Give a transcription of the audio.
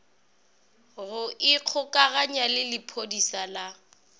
go ikgokaganya le lephodisa la